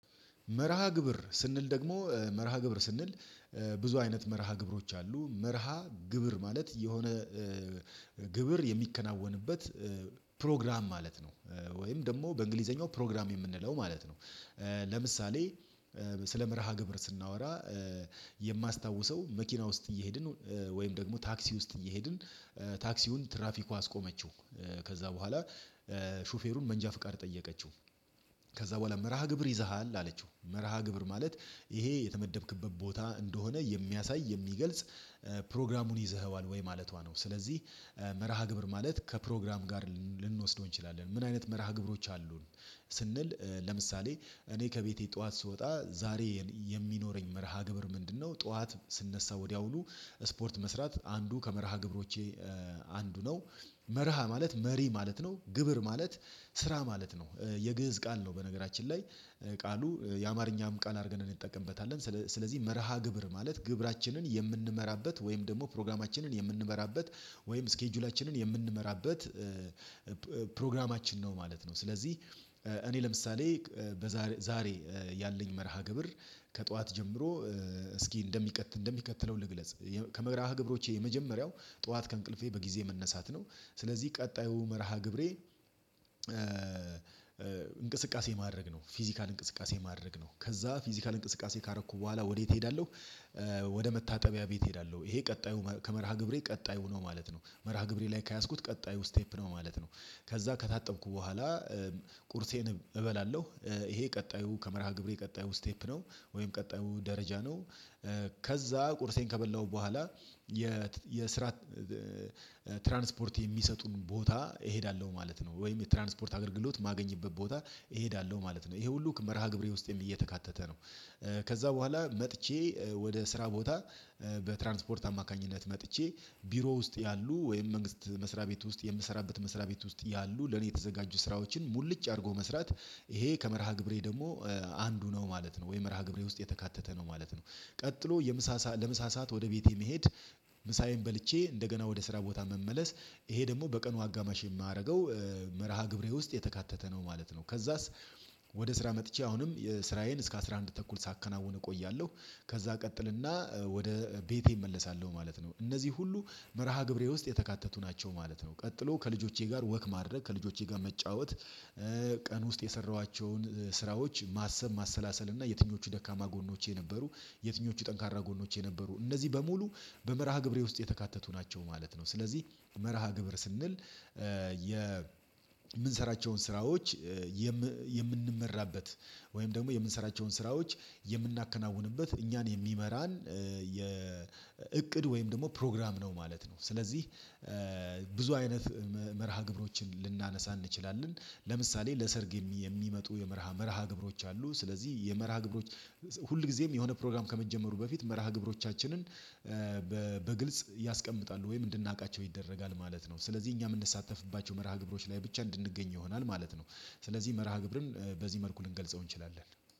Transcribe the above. መርሃ ግብር ስንል ደግሞ መርሃ ግብር ስንል ብዙ አይነት መርሃ ግብሮች አሉ መርሃ ግብር ማለት የሆነ ግብር የሚከናወንበት ፕሮግራም ማለት ነው። ወይም ደግሞ በእንግሊዘኛው ፕሮግራም የምንለው ማለት ነው። ለምሳሌ ስለ መርሃ ግብር ስናወራ የማስታውሰው መኪና ውስጥ እየሄድን ወይም ደግሞ ታክሲ ውስጥ እየሄድን ታክሲውን ትራፊኳ አስቆመችው። ከዛ በኋላ ሹፌሩን መንጃ ፍቃድ ጠየቀችው። ከዛ በኋላ መርሃ ግብር ይዘሃል አለችው መርሃ ግብር ማለት ይሄ የተመደብክበት ቦታ እንደሆነ የሚያሳይ የሚገልጽ ፕሮግራሙን ይዘኸዋል ወይ ማለቷ ነው። ስለዚህ መርሃ ግብር ማለት ከፕሮግራም ጋር ልንወስደው እንችላለን። ምን አይነት መርሃ ግብሮች አሉን ስንል ለምሳሌ እኔ ከቤቴ ጠዋት ስወጣ ዛሬ የሚኖረኝ መርሃ ግብር ምንድነው? ጠዋት ስንነሳ ወዲያውኑ ስፖርት መስራት አንዱ ከመርሃ ግብሮቼ አንዱ ነው። መርሃ ማለት መሪ ማለት ነው ግብር ማለት ስራ ማለት ነው። የግእዝ ቃል ነው በነገራችን ላይ ቃሉ የአማርኛም ቃል አድርገን እንጠቀምበታለን። ስለዚህ መርሃ ግብር ማለት ግብራችንን የምንመራበት ወይም ደግሞ ፕሮግራማችንን የምንመራበት ወይም ስኬጁላችንን የምንመራበት ፕሮግራማችን ነው ማለት ነው። ስለዚህ እኔ ለምሳሌ ዛሬ ያለኝ መርሃ ግብር ከጠዋት ጀምሮ እስኪ እንደሚቀጥል እንደሚከተለው ልግለጽ ከመግለጽ ግብሮቼ የመጀመሪያው ጠዋት ከእንቅልፌ በጊዜ መነሳት ነው። ስለዚህ ቀጣዩ መርሃ ግብሬ እንቅስቃሴ ማድረግ ነው ፊዚካል እንቅስቃሴ ማድረግ ነው ከዛ ፊዚካል እንቅስቃሴ ካረኩ በኋላ ወዴት እሄዳለሁ? ወደ መታጠቢያ ቤት እሄዳለሁ ይሄ ቀጣዩ ከመርሃ ግብሬ ቀጣዩ ነው ማለት ነው። መርሃ ግብሬ ላይ ከያዝኩት ቀጣዩ ስቴፕ ነው ማለት ነው። ከዛ ከታጠብኩ በኋላ ቁርሴን እበላለሁ ይሄ ቀጣዩ ከመርሃ ግብሬ ቀጣዩ ስቴፕ ነው ወይም ቀጣዩ ደረጃ ነው። ከዛ ቁርሴን ከበላሁ በኋላ የስራ ትራንስፖርት የሚሰጡን ቦታ እሄዳለሁ ማለት ነው። ወይም የትራንስፖርት አገልግሎት የማገኝበት ቦታ እሄዳለሁ ማለት ነው። ይሄ ሁሉ መርሃ ግብሬ ውስጤን እየተካተተ ነው። ከዛ በኋላ መጥቼ ወደ ስራ ቦታ በትራንስፖርት አማካኝነት መጥቼ ቢሮ ውስጥ ያሉ ወይም መንግስት መስሪያ ቤት ውስጥ የምሰራበት መስሪያ ቤት ውስጥ ያሉ ለኔ የተዘጋጁ ስራዎችን ሙልጭ አድርጎ መስራት ይሄ ከመርሃ ግብሬ ደግሞ አንዱ ነው ማለት ነው። ወይ መርሃ ግብሬ ውስጥ የተካተተ ነው ማለት ነው። ቀጥሎ የምሳ ለምሳ ሰዓት ወደ ቤቴ መሄድ። ምሳዬን በልቼ እንደገና ወደ ስራ ቦታ መመለስ ይሄ ደግሞ በቀኑ አጋማሽ የማደርገው መርሃ ግብሬ ውስጥ የተካተተ ነው ማለት ነው። ከዛስ ወደ ስራ መጥቼ አሁንም የስራዬን እስከ አስራ አንድ ተኩል ሳከናውን እቆያለሁ። ከዛ እቀጥልና ወደ ቤቴ እመለሳለሁ ማለት ነው እነዚህ ሁሉ መርሃ ግብሬ ውስጥ የተካተቱ ናቸው ማለት ነው። ቀጥሎ ከልጆቼ ጋር ወክ ማድረግ ከልጆቼ ጋር መጫወት ቀን ውስጥ የሰራኋቸውን ስራዎች ማሰብ ማሰላሰል እና የትኞቹ ደካማ ጎኖቼ ነበሩ። የትኞቹ ጠንካራ ጎኖቼ ነበሩ እነዚህ በሙሉ በመርሃ ግብሬ ውስጥ የተካተቱ ናቸው ማለት ነው። ስለዚህ መርሃ ግብር ስንል የምንሰራቸውን ስራዎች የምንመራበት ወይም ደግሞ የምንሰራቸውን ስራዎች የምናከናውንበት እኛን የሚመራን የእቅድ ወይም ደግሞ ፕሮግራም ነው ማለት ነው። ስለዚህ ብዙ አይነት መርሃ ግብሮችን ልናነሳ እንችላለን። ለምሳሌ ለሰርግ የሚመጡ የመርሃ መርሃ ግብሮች አሉ። ስለዚህ የመርሃ ግብሮች ሁል ጊዜም የሆነ ፕሮግራም ከመጀመሩ በፊት መርሃ ግብሮቻችንን በግልጽ ያስቀምጣሉ ወይም እንድናውቃቸው ይደረጋል ማለት ነው። ስለዚህ እኛ የምንሳተፍባቸው መርሃ ግብሮች ላይ ብቻ እንድንገኝ ይሆናል ማለት ነው። ስለዚህ መርሃ ግብርን በዚህ መልኩ ልንገልጸው እንችላለን።